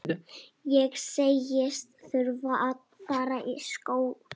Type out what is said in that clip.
Ég segist þurfa að fara í skó.